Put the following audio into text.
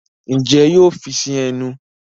Njé yóò fí sí ẹnu?